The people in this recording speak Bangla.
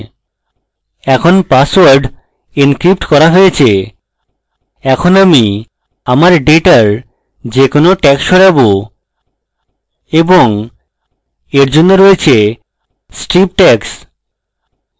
এখন পাসওয়ার্ড encrypted করা হয়ে গেছে এখন আমি আমাদের ডেটার যে কোনো tags সরাবো এবং এর জন্য রয়েছে strip tags